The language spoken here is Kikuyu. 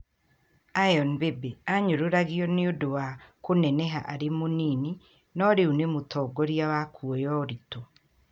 Iron Biby: Aanyũrũragwo nĩ ũndũ wa kũneneha arĩ mũnini, no rĩu nĩ mũtongoria wa kuoya ũritũ.